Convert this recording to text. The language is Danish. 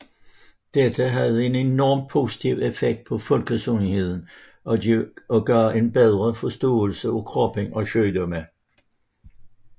Dette havde en enorm positiv effekt på folkesundheden og gav en bedre forståelse af kroppen og sygdomme